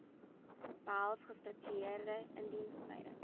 behels gestruktureerde indiensopleiding